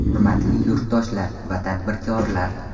Hurmatli yurtdoshlar va tadbirkorlar!